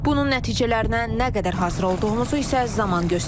Bunun nəticələrinə nə qədər hazır olduğumuzu isə zaman göstərəcək.